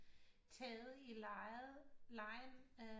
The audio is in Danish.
Taget i legen